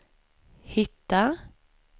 hitta